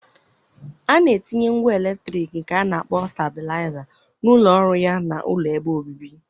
A na-etinye ngwá eletrik nke a na akpọ stablaịza na ụlọ ọrụ ya na ụlọ ebe obibi.